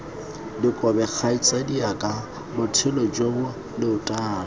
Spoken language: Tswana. dikobe kgaitsadiaka botshelo jo leotwana